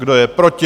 Kdo je proti?